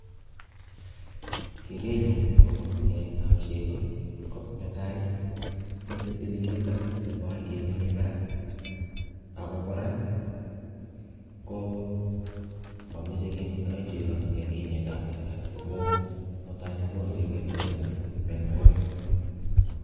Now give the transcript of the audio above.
Keret nyuu agobo keetab chego, ko netai, meche tililindo nebo aliet nemii barak. Ago kora, ko mameche kemetoi chego eng' kinetab teta, amuu mutai kokonu kewelutik anan ko mianwogik